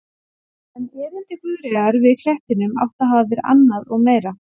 En erindi Guðríðar að klettinum átti að hafa verið annað og meira.